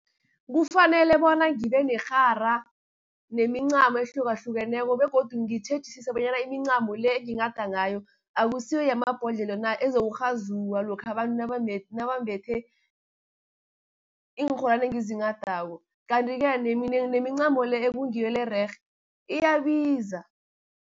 Kufanele bona ngibe nerhara, nemincamo ehlukahlukeneko, begodu ngitjhejisise bonyana imincamo le, enginghada ngayo akusiyo yamabhodlelo na, ezokurhazulwa lokha abantu nabambethe iinrholwani engizinghadako, kanti-ke nemincamo le, ekungiyo le ererhe iyabiza.